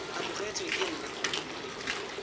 amogetswe ke nna bo dule